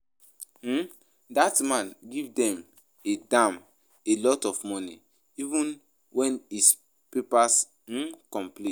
um Dat man give dem a dem a lot of money even wen his papers um complete